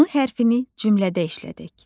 M hərfinin cümlədə işlədək.